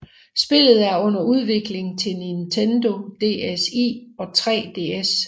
Spillet er under udvikling til Nintendo DSi og 3DS